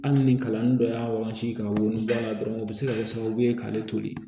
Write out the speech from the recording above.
Hali ni kalanden dɔ y'a wagati kan wolonwula dɔrɔn o bɛ se ka kɛ sababu ye k'ale toli